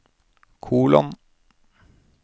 kolon